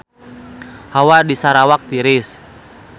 Hawa di Sarawak tiris